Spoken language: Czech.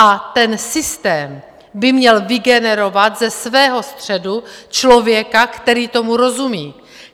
A ten systém by měl vygenerovat ze svého středu člověka, který tomu rozumí.